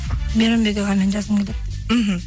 мейрамбек ағамен жазғым келеді деп мхм